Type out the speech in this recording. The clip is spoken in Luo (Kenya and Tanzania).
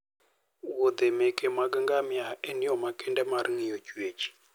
wuodhe meke ngamia en yo makende mar ng'iyo chwech